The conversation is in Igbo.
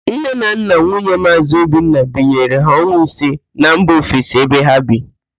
Nne na nna nwunye Maazị Obinna binyere ha ọnwa ise na mba ofesi ebe ha bi